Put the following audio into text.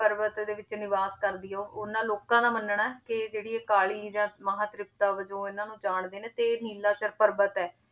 ਪਰਬਤ ਦੇ ਵਿੱਚ ਨਿਵਾਸ ਕਰਦੀ ਆ, ਉਹਨਾਂ ਲੋਕਾਂ ਦਾ ਮੰਨਣਾ ਹੈ, ਕਿ ਜਿਹੜੀ ਇਹ ਕਾਲੀ ਜਾਂ ਮਹਾਂ ਤ੍ਰਿਪਤਾ ਵਜੋਂ ਇਹਨਾਂ ਨੂੰ ਜਾਣਦੇ ਨੇ ਤੇ ਇਹ ਨੀਲਾਸ਼ਰ ਪਰਬਤ ਹੈ,